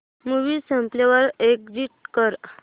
movie संपल्यावर exit कर